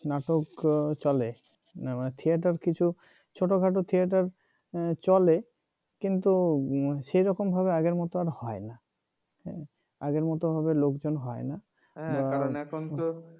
নাটক চলে theater কিছু ছোটখাটো theater চলে কিন্তু সেরকম ভাবে আগের মত আর হয় না আগের মত ভাবে লোকজন আর হয় না হ্যাঁ কারণ এখন তো